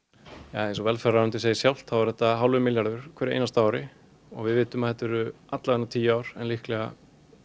eins og velferðarráðuneytið segir sjálft þá er þetta hálfur milljarður á hverju einasta ári og við vitum að þetta eru allavega tíu ár en líklega